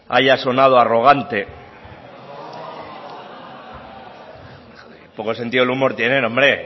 haya sonado arrogante qué poco sentido del humor tienen hombre